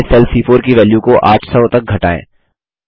फिर से सेल सी4 की वैल्यू को 800 तक घटाएँ